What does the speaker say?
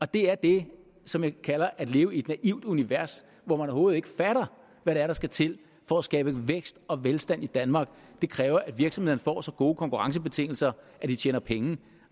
det er det som jeg kalder at leve i et naivt univers hvor man overhovedet ikke fatter hvad det er der skal til for at skabe vækst og velstand i danmark det kræver at virksomhederne får så gode konkurrencebetingelser at de tjener penge